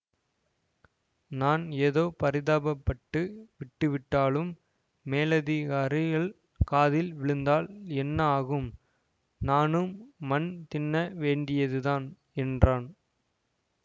நான் ஏதோ பரிதாபப்பட்டு விட்டுவிட்டாலும் மேலதிகாரிகள் காதில் விழுந்தால் என்ன ஆகும் நானும் மண் தின்ன வேண்டியதுதான் என்றான்